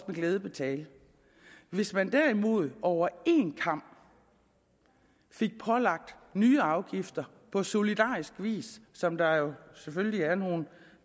glæde betale hvis man derimod over en kam fik pålagt nye afgifter på solidarisk vis som der jo selvfølgelig er nogle